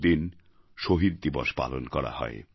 ওই দিন শহীদ দিবস পালন করা হয়